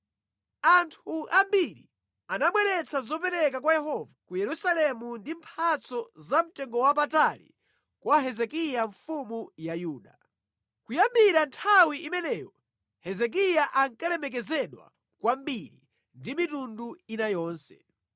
Anthu ambiri anabweretsa zopereka kwa Yehova ku Yerusalemu ndi mphatso zamtengowapatali kwa Hezekiya mfumu ya Yuda. Kuyambira nthawi imeneyo Hezekiya ankalemekezedwa kwambiri ndi mitundu ina yonse.